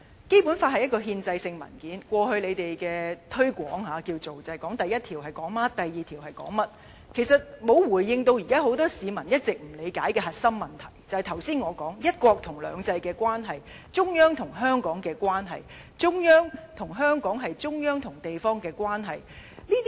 《基本法》是一份憲制性文件，過去當局的推廣方式，主要是指出第一條說甚麼，第二條說甚麼，其實沒有回應現在許多市民一直不理解的核心問題，即我剛才提到一國與兩制的關係，中央與香港的關係，中央與香港，是中央與地方的關係。